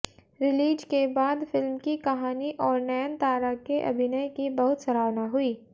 release के बाद film की कहानी और नयनतारा के अभिनय की बहुत सराहना हुई